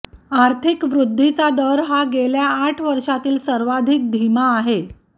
आर्थिक वृद्धीचा दर हा गेल्या आठ वर्षांतील सर्वाधिक धीमा आहे